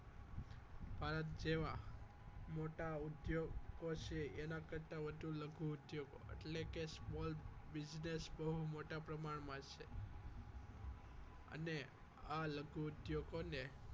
ભારત જેવા મોટા ઉદ્યોગો છે એના કરતાં લઘુ ઉદ્યોગો એટલે કે small business બહુ મોટા પ્રમાણમાં છે અને આ લઘુ ઉદ્યોગોને